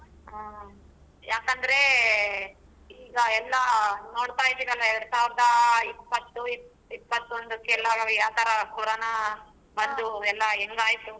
ಹ್ಮ್ ಯಾಕಂದ್ರೆ ಈಗ ಎಲ್ಲಾ ನೋಡ್ತಾ ಇದೀರಲ್ಲಾ ಎರಡ್ಸಾವಿರದ ಇಪ್ಪತ್ತು ಇಪ್ಪತೊಂದಕ್ಕೆಲ್ಲಾ ನಮಿಗೆ ಯಾವ್ತರ ಕೋರೋನಾ ಬಂದು ಎಲ್ಲಾ ಹೆಂಗಾಯ್ತು.